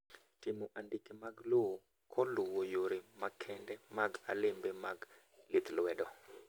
Timo andike mag lowo koluwo yore makende mag alembe mag lith lwedo